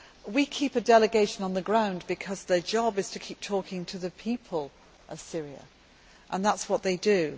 We keep a delegation on the ground because their job is to continue talking to the people of Syria, and that is what they do.